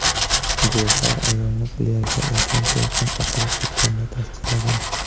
Guvohlar ayolni plyajda ulkan to‘lqin oqizib ketganini tasdiqlagan.